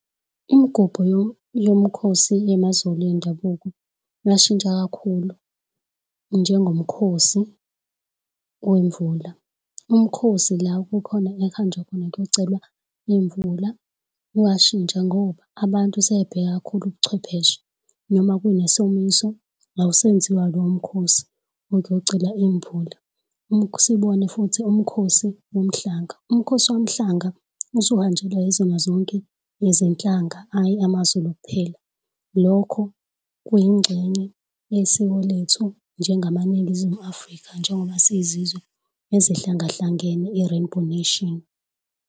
Imgubho yomkhosi wamaZulu endabuko yashintsha kakhulu njengomakhosi wemvula. Umkhosi la kukhona ekuhanjwa khona kuyocelwa imvula uyashintsha ngoba abantu sebebheka kakhulu ubuchwepheshe noma kunesomiso awusenziwa lowo mkhosi ukuyocela imvula, usibone futhi umkhosi womhlanga umkhosi womhlanga usuhanjelwa yizona zonke izinhlanga hhayi amaZulu kuphela. Lokho kuyingxenye yesiko lethu njengamaNingizimu Afrika njengoba siyizizwe ezihlangahlangene, i-Rainbow Nation.